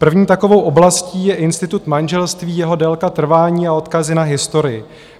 První takovou oblastí je institut manželství, jeho délka trvání a odkazy na historii.